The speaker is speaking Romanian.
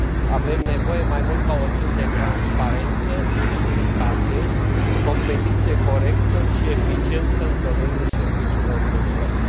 Avem nevoie mai mult ca oricând de transparență, securitate, competiție corectă și eficiență în domeniul serviciilor de plăți.